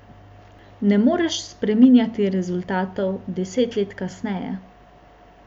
Ne moreš spreminjati rezultatov deset let kasneje.